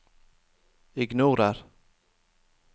ignorer